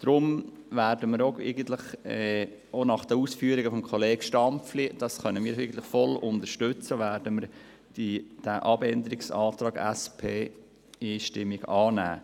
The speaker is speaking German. Deshalb werden wir auch nach den Ausführungen von Grossrat Stampfli, welche wir voll unterstützen, den Antrag SP-JUSO-PSA einstimmig annehmen.